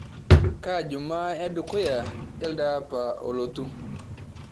kaa jumaa edukuya elde apa olotu